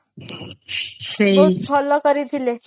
ବହୁତ ଭଲ କରିଥିଲେ